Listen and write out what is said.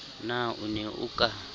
na o ne o ka